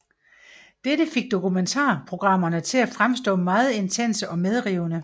Dette fik dokumentar programmerne til at fremstå meget intense og medrivende